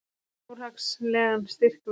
Fjárhagslegan styrk veittu